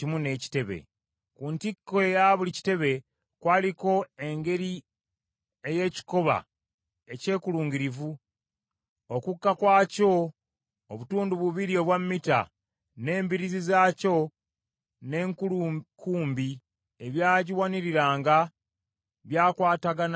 Ku ntikko eya buli kitebe kwaliko engeri ey’ekikoba ekyekulungirivu; okukka kwakyo obutundu bubiri obwa mita, n’embiriizi zaakyo n’enkulukumbi ebyagiwaniriranga, byakwatagananga ku ntikko.